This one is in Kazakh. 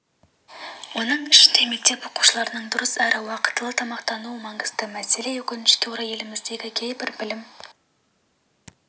оның ішінде мектеп оқушыларының дұрыс әрі уақтылы тамақтануы маңызды мәселе өкінішке қарай еліміздегі кейбір білім